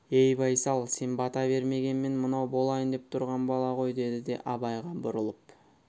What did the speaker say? ей байсал сен бата бермегенмен мынау болайын деп тұрған бала ғой деді де абайға бұрылып